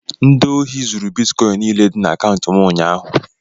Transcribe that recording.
Ndị ohi zuru bitkọịn niile dị na akaụntụ m ụnyaahụ.